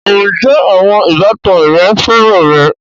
Ǹjẹ́ àwọn ìbátan rẹ féràn rẹ?